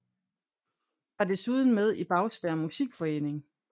Var desuden med i Bagsværd Musikforening